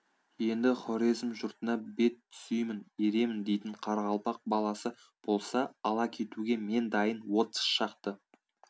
енді хорезм жұртына бет түзеймін еремін дейтін қарақалпақ баласы болса ала кетуге мен дайын отыз шақты